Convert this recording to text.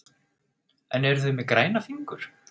En eru þau með græna fingur?